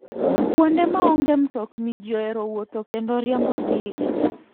kuonde ma onge mtokni ji ohero wuotho kendo riembo ndiga.